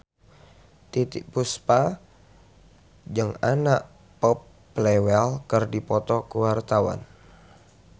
Titiek Puspa jeung Anna Popplewell keur dipoto ku wartawan